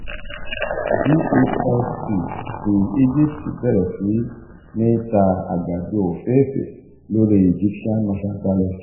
gasc ti egypt bẹrẹ si ni ta àgbàdo ofeefee lori egyptian mercantile exchange.